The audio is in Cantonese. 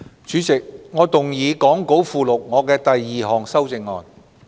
主席，我動議講稿附錄我的第二項修正案。